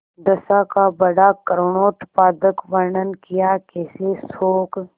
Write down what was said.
दशा का बड़ा करूणोत्पादक वर्णन कियाकैसे शोक